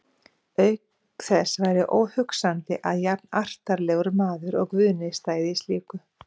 Auk þess væri óhugsandi að jafnartarlegur maður og Guðni stæði í slíku.